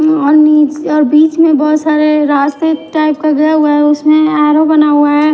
और नीचे और बीच में बहुत सारे रास्ते टाइप का घेरा हुआ है उसमें एरो बना हुआ है।